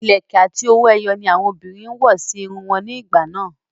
Ìlẹ̀kẹ̀ àti owó ẹyọ ni àwọn obìnrin ń wọ̀ sí irun wọn ní ìgbà náà